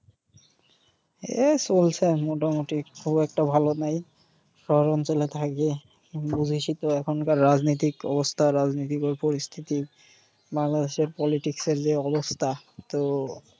এই চলছে মোটামুটি। খুব একটা ভালো নেই। শহর অঞ্চলে থাকি । বুঝিসই তো এখনকার রাজনৈতিক অবস্থা রাজনৈতিক পরিস্থিতি। বাংলাদেশের politics এর যে অবস্থা। তো